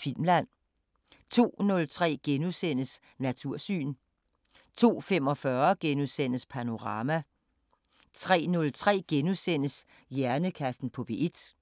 Filmland * 02:03: Natursyn * 02:45: Panorama * 03:03: Hjernekassen på P1 *